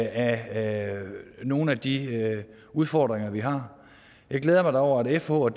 af nogle af de udfordringer vi har jeg glæder mig da over at fh og